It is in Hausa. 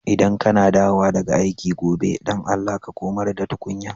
ldan ka na dawowa daga aiki gobe, dan Allah ka komar da tukunyan.